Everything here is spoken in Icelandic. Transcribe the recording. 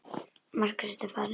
Margrét er farin.